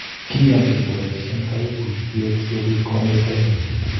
kianchin kobaishen kaibuitiek sikobit komanyor kaimutiet